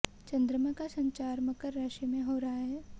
चंद्रमा का संचार मकर राशि में हो रहा है